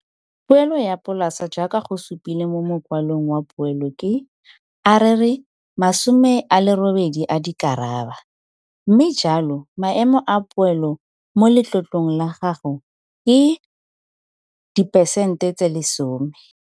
Poelo ya polase jaaka go supilwe mo mokwalong wa poelo ke, a re re R80 000, mme jalo maemo a poelo mo letlotlong la gago ke diperesente 10.